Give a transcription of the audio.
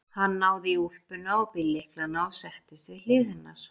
Hann náði í úlpuna og bíllyklana og settist við hlið hennar.